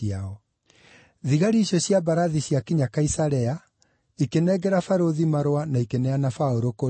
Thigari icio cia mbarathi ciakinya Kaisarea, ikĩnengera barũthi marũa na ikĩneana Paũlũ kũrĩ we.